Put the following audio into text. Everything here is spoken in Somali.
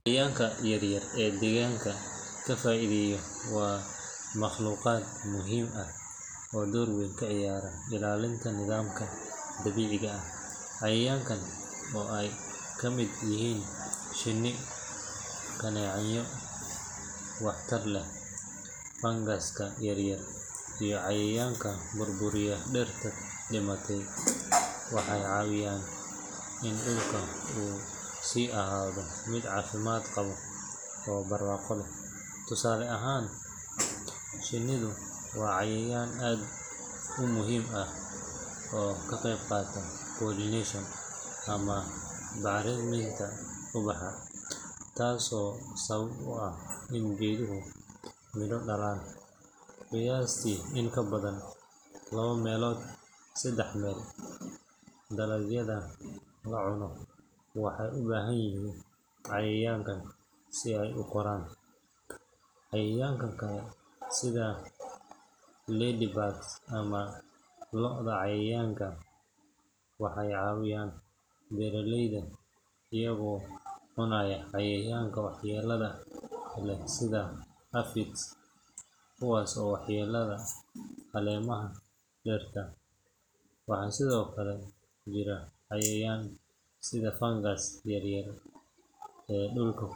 Cayayaanka yaryar ee deegaanka ka faa’iideeya waa makhluuqaad muhiim ah oo door weyn ka ciyaara ilaalinta nidaamka dabiiciga ah. Cayayaankan, oo ay ka mid yihiin shinni, kaneecooyinka wax tar leh, fangaska yaryar, iyo cayayaanka burburiya dhirta dhimatay, waxay caawiyaan in dhulka uu sii ahaado mid caafimaad qaba oo barwaaqo leh. Tusaale ahaan, shinnidu waa cayayaan aad u muhiim ah oo ka qeyb qaata pollination ama bacriminta ubaxa, taasoo sabab u ah in geeduhu midho dhalaan. Qiyaastii in ka badan laba meelood saddex meel dalagyada la cuno waxay u baahan yihiin cayayaankan si ay u koraan. Cayayaanka kale sida ladybugs ama lo’da cayayaanka waxay caawiyaan beeraleyda iyagoo cunaya cayayaanka waxyeellada leh sida aphids, kuwaas oo waxyeeleeya caleemaha dhirta. Waxaa sidoo kale jira cayayaan sida fangaska yaryar ee dhulka.